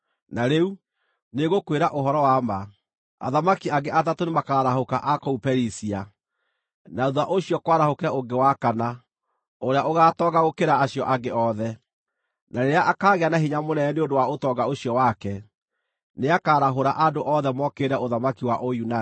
“Na rĩu, nĩngũkwĩra ũhoro wa ma: Athamaki angĩ atatũ nĩmakarahũka a kũu Perisia, na thuutha ũcio kwarahũke ũngĩ wa kana, ũrĩa ũgaatonga gũkĩra acio angĩ othe. Na rĩrĩa akaagĩa na hinya mũnene nĩ ũndũ wa ũtonga ũcio wake, nĩakarahũra andũ othe mokĩrĩre ũthamaki wa Ũyunani.